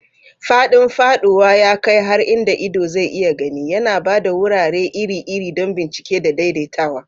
Faɗin faɗuwa ya kai har inda ido zai iya gani, yana ba da wurare iri-iri don bincike da daidaitawa.